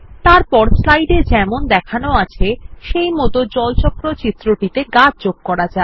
এরপর এই স্লাইড এ যেমন দেখানো আছে সেইমত এই জল চক্র চিত্রটিতে গাছ যোগ করা যাক